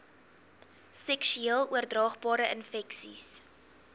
seksueel oordraagbare infeksies